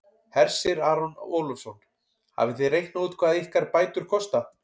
Hersir Aron Ólafsson: Hafið þið reiknað út hvað ykkar bætur kosta?